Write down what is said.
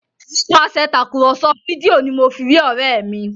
Nípasẹ Tàkùrọ̀sọ fídíò ní mọ fí rí òré mí